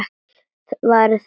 Varir þeirra mætast.